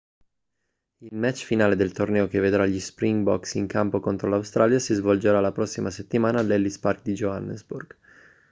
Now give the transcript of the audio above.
il match finale del torneo che vedrà gli springboks in campo contro l'australia si svolgerà la prossima settimana all'ellis park di johannesburg